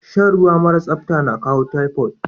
Shan ruwa mara sapta na kawo typhoid.